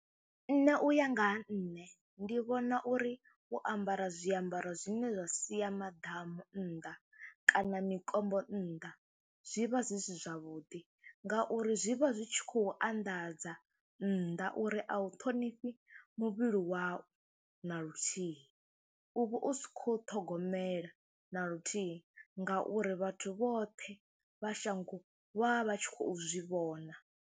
Nṋe u ya nga ha nṋe ndi vhona uri u ambara zwiambaro zwine zwa sia maḓamu nnḓa kana mikombo nnḓa zwi vha zwi si zwavhuḓi ngauri zwi vha zwi tshi khou anḓadza nnḓa uri a u ṱhonifhi muvhili wau na luthihi. U vha u si khou ṱhogomela na luthihi ngauri vhathu vhoṱhe vha shango vha vha vha tshi khou zwi vhona.